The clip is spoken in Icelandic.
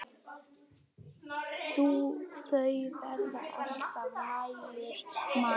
Þó var alltaf nægur matur.